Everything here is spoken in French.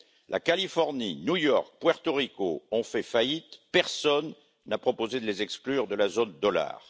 La Californie, New York, Porto Rico ont fait faillite, et personne n'a proposé de les exclure de la zone dollar.